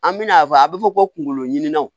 An bɛna fɔ a bɛ fɔ ko kunkoloɲininw